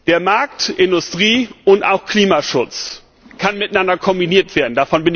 Der Markt, Industrie und auch Klimaschutz können miteinander kombiniert werden.